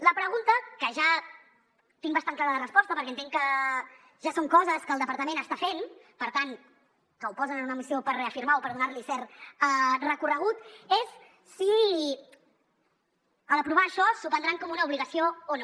la pregunta que ja tinc bastant clara la resposta perquè entenc que ja són coses que el departament està fent per tant que ho posen en una missió per reafirmar o per donar li cert recorregut és si a l’aprovar això s’ho prendran com una obligació o no